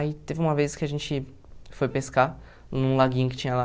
Aí teve uma vez que a gente foi pescar num laguinho que tinha lá.